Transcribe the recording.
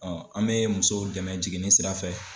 an mɛ musow dɛmɛ jiginni sirafɛ.